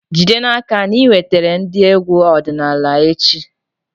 Jide n'aka na ị wetara ndị egwu ọdịnala echi!